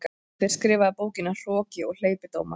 Hver skrifaði bókina Hroki og hleypidómar?